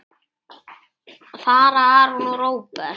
Fara Aron og Róbert?